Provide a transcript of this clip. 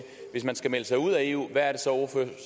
hvis man skal melde sig ud af eu hvad er det så